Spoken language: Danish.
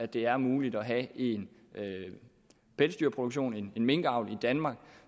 det er muligt at have en pelsdyrproduktion en minkavl i danmark